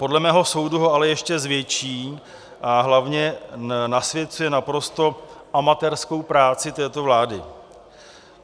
Podle mého soudu ho ale ještě zvětší a hlavně nasvěcuje naprosto amatérskou práci této vlády.